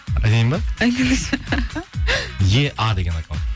айтайын ба айтыңызшы еа деген аккаунт